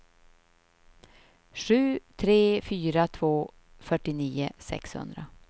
sju tre fyra två fyrtionio sexhundra